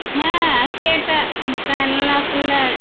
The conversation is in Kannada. ಹಾ ಅಷ್ಟೇ ಅಕ್ಕ ಮುಖ ಎಲ್ಲಾ full ಬೆವ್ರೇ ಬೆವ್ರಕ್ಕ.